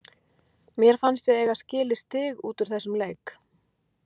Mér fannst við eiga skilið stig út úr þessum leik.